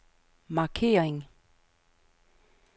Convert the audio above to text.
markering